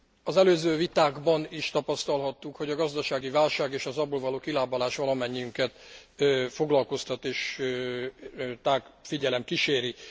Az előző vitákban is tapasztalhattuk, hogy a gazdasági válság és az abból való kilábalás valamennyiünket foglalkoztat és tág figyelem kíséri.